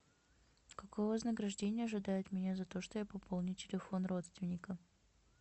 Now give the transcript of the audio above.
какое вознаграждение ожидает меня за то что я пополню телефон родственника